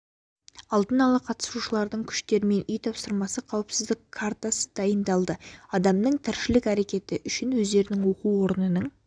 алдын ала қатысушылардың күштерімен үй тапсырмасы қауіпсіздік картасы дайындалды адамның тіршілік әрекеті үшін өздерінің оқу орнының